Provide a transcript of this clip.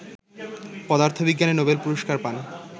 পদার্থবিজ্ঞানে নোবেল পুরস্কার পান